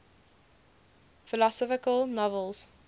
philosophical novels